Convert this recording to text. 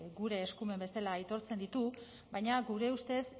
gure eskumen bezala aitortzen ditu baina gure ustez